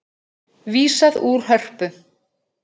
Vísað úr Hörpu